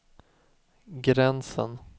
gränsen